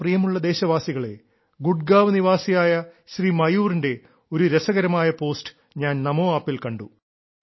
എന്റെ പ്രിയമുള്ള ദേശവാസികളേ ഗുഡ്ഗാവ് നിവാസിയായ ശ്രീ മയൂറിന്റെ ഒരു രസകരമായ പോസ്റ്റ് ഞാൻ നമോ ആപ്പിൽ കണ്ടു